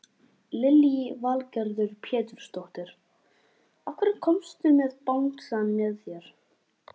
Lillý Valgerður Pétursdóttir: Af hverju komstu með bangsann með þér?